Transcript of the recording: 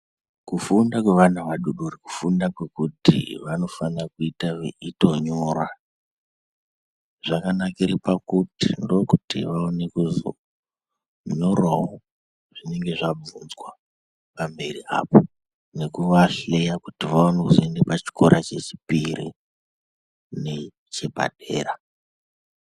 Kufunda kwevana vadoodori kufunda kwekuti vanofana kuita veitonyora. Zvakanakire pakuti ndookuti vaone kuzonyorawo zvinenge zvabvunzwa pamberi apo, nekuvahleya kuti vaone kuzoende pachikora chechipiri nechepadera.